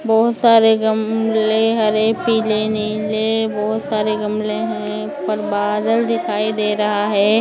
बहुत सारे गमले हरे पीले नीले बहुत सारे गमले है ऊपर बादल दिखाई दे रहा है ।